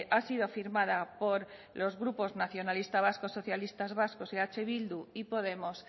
ha sido firmada por los grupos nacionalista vascos socialistas vascos y eh bildu y podemos